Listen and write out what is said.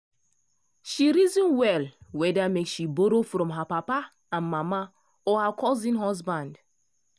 she reason well whether make she borrow from her papa and mama or her cousin husband.